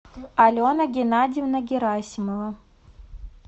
алена геннадьевна герасимова